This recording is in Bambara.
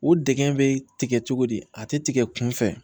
O deg bɛ tigɛ cogo di a tɛ tigɛ kunfɛ